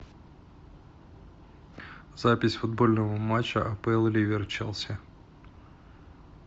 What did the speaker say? запись футбольного матча апл ливер челси